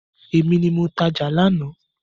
Èmi ni mo tajà lánàá.